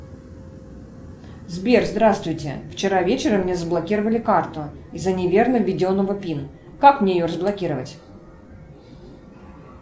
сбер здравствуйте вчера вечером мне заблокировали карту из за неверно введенного пин как мне ее разблокировать